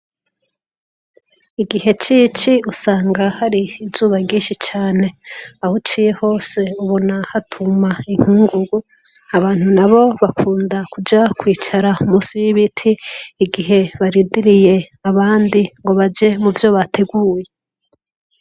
Igihe c'ici usanga hari izuba ryinshi cane. Ahuciye hose ubona hatuma inkungugu. Abantu nabo bakunda kuja kwicara munsi y'ibiti igihe barindiriye abandi ngo baje muvyo bateguye.